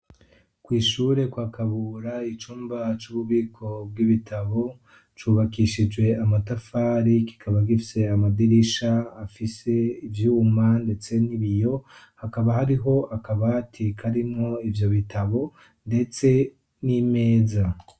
kwishure kwakabura icumba c'ububiko bw'ibitabo cubakishijwe amatafari kikaba gifise amadirisha afise ibyuma ndetse n'ibiyo hakaba hariho akabati karimo ibyo bitabo ndetse n'imeza